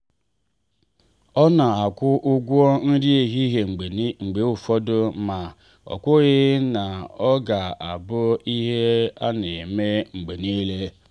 ọ na-akwụ ụgwọ nri ehihie mgbe ụfọdụ ma o kwụghị ka ọ ga abụ ihe a na eme mgbe niile.